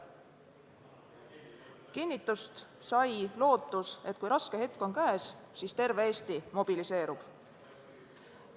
Kinnitust sai lootus, et kui raske hetk on käes, siis terve Eesti mobiliseerub.